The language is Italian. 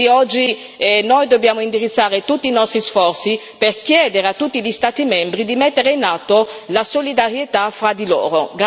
Quindi oggi noi dobbiamo indirizzare tutti i nostri sforzi per chiedere a tutti gli Stati membri di mettere in atto la solidarietà fra di loro.